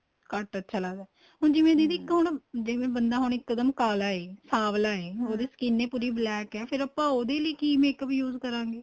ਘੱਟ ਅੱਛਾ ਲੱਗਦਾ ਹੁਣ ਜਿਵੇਂ ਦੀਦੀ ਇੱਕ ਹੁਣ ਜਿਵੇਂ ਬੰਦਾ ਹੁਣ ਇੱਕਦਮ ਕਾਲਾ ਏ ਸਾਵਲਾਂ ਏ ਉਹਦੀ skin ਪੂਰੀ black ਏ ਫ਼ੇਰ ਆਪਾਂ ਉਹਦੇ ਲਈ ਕੀ makeup use ਕਰਾਗੇ